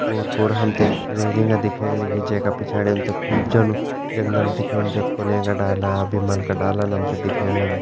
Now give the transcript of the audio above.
ओर पोर हमतें रैलिंगा दिखेण लगीं जैका पिछाड़ी हमतें खूब जनु जंगल दिखेणु जख कुलँय का डाला भिमल क डालान हमतें दिखेण लग्यां।